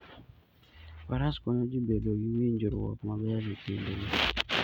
Faras konyo ji bedo gi winjruok maber e kindgi.